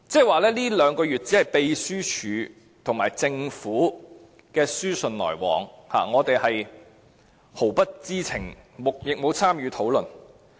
換言之，這兩個月內只是秘書處和政府的書信來往，我們毫不知情，亦沒有參與討論。